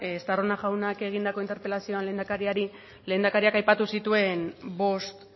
estarrona jaunak egindako interpelazioan lehendakariari lehendakariak aipatu zituen bost